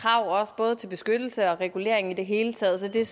krav både til beskyttelse og regulering i det hele taget så det er